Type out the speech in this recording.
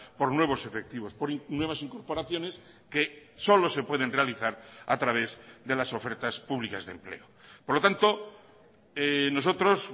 por nuevos efectivos por nuevas incorporaciones que solo se pueden realizar a través de las ofertas públicas de empleo por lo tanto nosotros